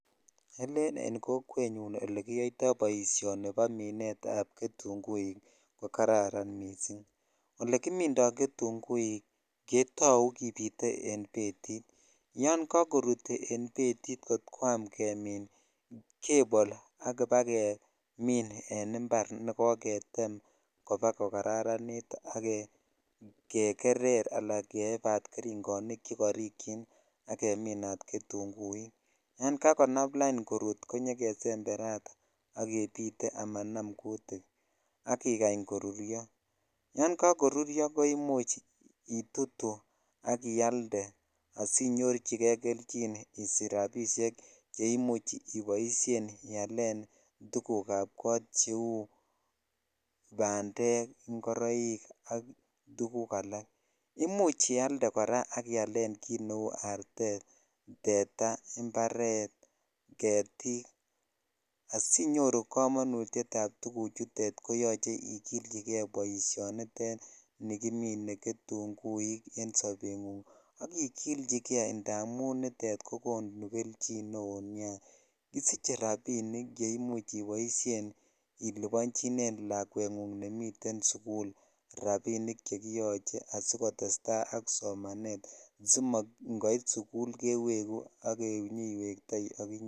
Ele en kokwet nyun ole kiyoito boishoni bo minet ab ketunguik ko kararan missing olekimindo ketungiik ketau ketutonie betit yan kakorut en betit kot kosm kemin kebole ak kobagemin en impar nekoketem ko karant ak gegeree al keebat feringonik chekorikyin ak gemini ketuguikyan kakonam lain korut konyokesemberat a kebite amanam kutikak ikany koruryo yan jskoruryo koimuch itutu ak ialde asinyorchikei kelchin inyoru rabishek che imu ialen tuguk ab kot cheu bandek ,ingoroik ak tuguk alak imuch ialde kora ak ialen kit neu artete ,tetaa ,imparet ,getik asinyoru kamonutyet ab tuguchutet ko yoche ikilchikei boishoni nitet ni kimine getuguik en sobengunng ak ikilchikei anun nitet kokonu kelychi neo nia kisiche rabinik che imuch iboishen ilibonchine lakwengung nemiten sukul rabinik che kiyoche asikotetai ak somanet si komait sukul kewegu ak inyoiwetoi ak inye.